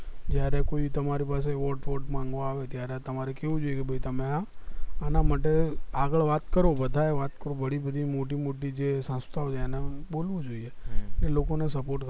જયારે કોઈ તમારી પાસે vote બોટ માંગવા આવે ત્યારે તમારે કેવું જોઈએ કે ભય તમે આ આના માટે આગળ વાત કરો બધાય વાત બડી બડી મોટી મોટી જે સંસ્થાઓ છે એને બોલવું જોઈએ એ લોકો ને support